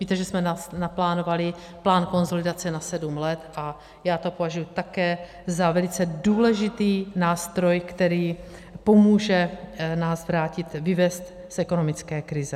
Víte, že jsme naplánovali plán konsolidace na sedm let a já to považuji také za velice důležitý nástroj, který pomůže nás vrátit, vyvést z ekonomické krize.